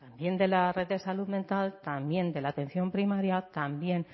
también de la red de salud mental también de la atención primaria también